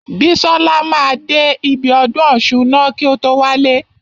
Bísọ́la máa dé ibi ọdún ọ̀ṣun ná kí o tó wálé.